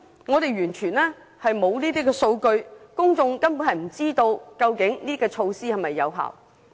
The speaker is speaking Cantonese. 我們完全沒有相關數據，公眾根本不知道所採取的措施是否有效。